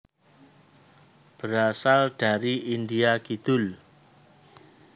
Berasal dari India Kidul